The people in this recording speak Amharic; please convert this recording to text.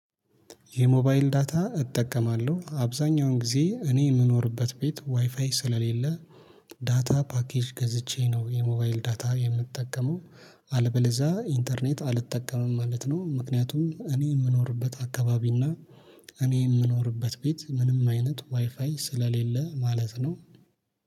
የሞባይል ዳታ እጠቀማለሁ አብዛኛውን ጊዜ እኔ የምኖርበት ቤት ዋይፋይ ስለሌለ። ዳታ ፓኬጅ ገዝቼ ነው የሞባይል ዳታ የምጠቀመው። አለበለዛ ኢንተርኔት አልጠቀምም ማለት ነው። ምክንያቱም እኔ የምኖርበት አካባቢ እና እኔ የምኖርበት ቤት ምንም አይነት ዋይፋይ ስለሌለ ማለት ነው።